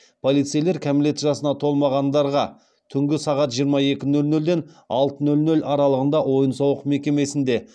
полицейлер кәмелет жасына толмағандарға түнгі сағат жиырма екі нөл нөлден алты нөл нөл аралығында ойын сауық мекемесінде